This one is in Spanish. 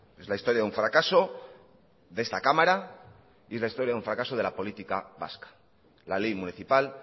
es la historia de un fracaso de esta cámara y es la historia de un fracaso de la política vasca la ley municipal